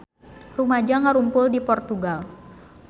Rumaja ngarumpul di Portugal